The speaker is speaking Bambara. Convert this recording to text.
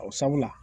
O sabula